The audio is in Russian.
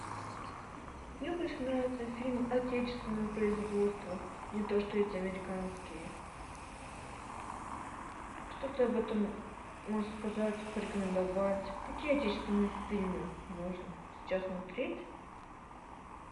мне больше нравятся фильмы отечественного производства не то что эти американские что ты об этом можешь сказать порекомендовать какие отечественные фильмы можно сейчас смотреть